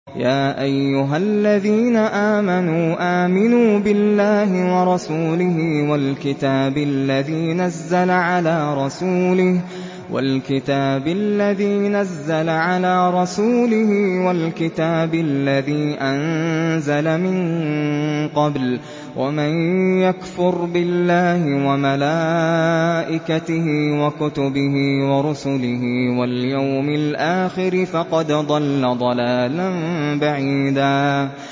يَا أَيُّهَا الَّذِينَ آمَنُوا آمِنُوا بِاللَّهِ وَرَسُولِهِ وَالْكِتَابِ الَّذِي نَزَّلَ عَلَىٰ رَسُولِهِ وَالْكِتَابِ الَّذِي أَنزَلَ مِن قَبْلُ ۚ وَمَن يَكْفُرْ بِاللَّهِ وَمَلَائِكَتِهِ وَكُتُبِهِ وَرُسُلِهِ وَالْيَوْمِ الْآخِرِ فَقَدْ ضَلَّ ضَلَالًا بَعِيدًا